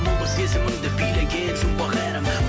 бұл бір сезімімді билеген жұмбақ әлем